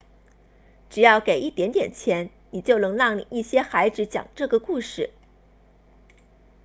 只要给一点点钱你就能让一些孩子讲这个故事